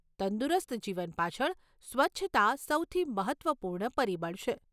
તંદુરસ્ત જીવન પાછળ સ્વચ્છતા સૌથી મહત્વપૂર્ણ પરિબળ છે.